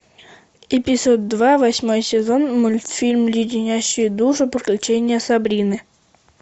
эпизод два восьмой сезон мультфильм леденящие душу приключения сабрины